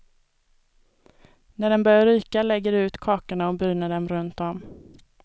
När den börjar ryka lägger du ut kakorna och bryner dem runt om.